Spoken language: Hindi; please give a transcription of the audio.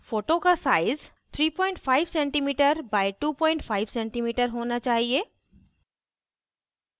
photo का size 35cm x 25cm होना चाहिए